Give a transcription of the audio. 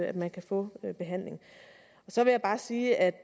at man kan få behandling så vil jeg sige at